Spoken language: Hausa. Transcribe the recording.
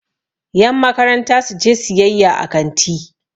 yanmakaranta su je siyayya a kanti